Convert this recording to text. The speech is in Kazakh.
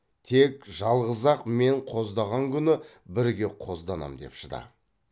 тек жалғыз ақ мен қоздаған күні бірге қозданам деп шыда